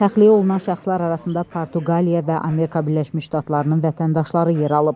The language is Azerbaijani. Şəxsiyyəti məlum olan şəxslər arasında Portuqaliya və Amerika Birləşmiş Ştatlarının vətəndaşları yer alıb.